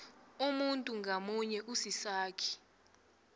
umuntu ngamunye usisakhi